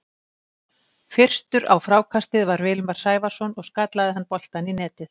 Fyrstur á frákastið var Vilmar Sævarson og skallaði hann boltann í netið.